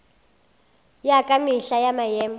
ya ka mehla ya maemo